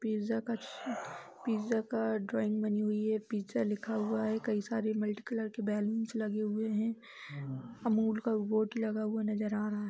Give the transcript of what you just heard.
Pizza का pizza का drawing बनी हुई है पिज़्ज़ा लिखा हुआ है। कई सारे मल्टी कलर के बलून्स लगे हुये हैं। अमूल का बोर्ड लगा हुआ नज़र आ रहा है।